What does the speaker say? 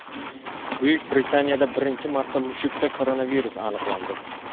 Buyuk Britaniyada birinchi marta mushukda koronavirus aniqlandi.